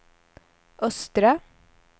östra